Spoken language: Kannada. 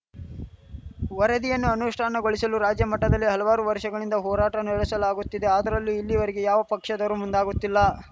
ವರದಿಯನ್ನು ಅನುಷ್ಠಾನಗೊಳಿಸಲು ರಾಜ್ಯಮಟ್ಟದಲ್ಲಿ ಹಲವಾರು ವರ್ಷಗಳಿಂದ ಹೋರಾಟ ನಡೆಸಲಾಗುತ್ತಿದೆ ಆದರೂ ಇಲ್ಲಿಯವರೆಗೆ ಯಾವ ಪಕ್ಷದವರೂ ಮುಂದಾಗುತ್ತಿಲ್ಲ